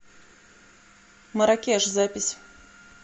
маракеш запись